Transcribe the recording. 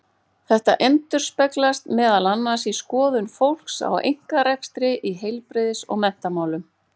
Þetta endurspeglast meðal annars í skoðun fólks á einkarekstri í heilbrigðis- og menntamálum.